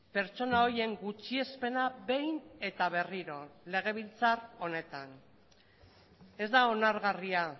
pertsona horien gutxiespena behin eta berriro legebiltzar honetan ez da onargarria